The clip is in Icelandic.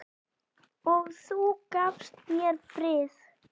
Og þú gafst mér frið.